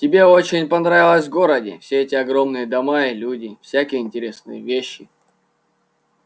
тебе очень понравится в городе все эти огромные дома и люди и всякие интересные вещи